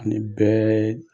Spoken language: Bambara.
An' ni bɛɛ